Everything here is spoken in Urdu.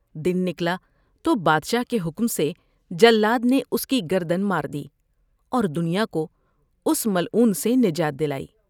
دن نکلا تو بادشاہ کے حکم سے جلاد نے اس کی گردن مار دی اور دنیا کو اس ملعون سے نجات دلائی ۔